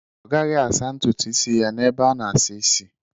Ọ gaghị asa ntutu isi ya n'ebe a na-asa isi.